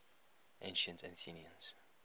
ancient athenians